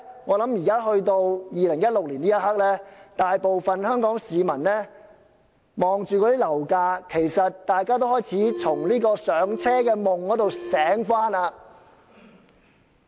我相信在2016年的這一刻，大部分香港市民看到樓價，已開始從"上車"的夢中醒過來。